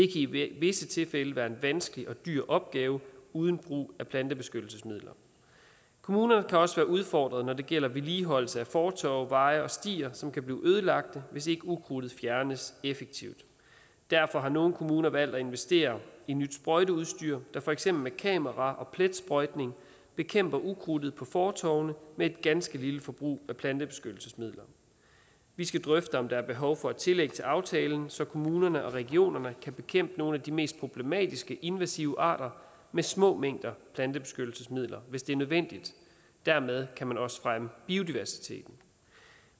i visse tilfælde være en vanskelig og dyr opgave uden brug af plantebeskyttelsesmidler kommunerne kan også være udfordret når det gælder vedligeholdelse af fortove veje og stier som kan blive ødelagt hvis ikke ukrudtet fjernes effektivt derfor har nogle kommuner valgt at investere i nyt sprøjteudstyr der for eksempel med kamera og pletsprøjtning bekæmper ukrudtet på fortovene med et ganske lille forbrug af plantebeskyttelsesmidler vi skal drøfte om der er behov for et tillæg til aftalen så kommunerne og regionerne kan bekæmpe nogle af de mest problematiske invasive arter med små mængder plantebeskyttelsesmidler hvis det er nødvendigt dermed kan man også fremme biodiversiteten